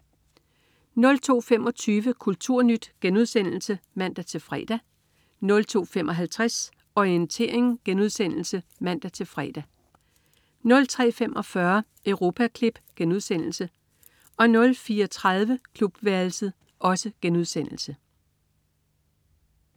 02.25 Kulturnyt* (man-fre) 02.55 Orientering* (man-fre) 03.45 Europaklip* 04.30 Klubværelset*